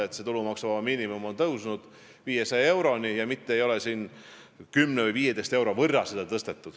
Mõtlen seda, et tulumaksuvaba miinimum on tõusnud 500 euroni, selle asemel et seda 10 või 15 euro võrra tõsta.